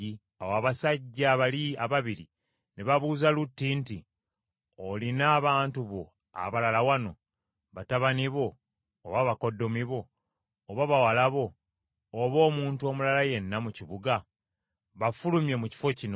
Awo abasajja bali ababiri ne babuuza Lutti nti, “Olina abantu bo abalala wano, batabani bo, oba bakoddomi bo, oba bawala bo, oba omuntu omulala yenna mu kibuga? Bafulumye mu kifo kino;